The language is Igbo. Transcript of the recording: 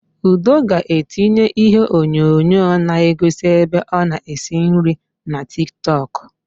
Udo ga-etinye iheonyonyo na-egosi ebe ọ na-esi nri na Tiktọk.